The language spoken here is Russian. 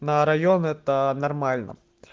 на район это нормально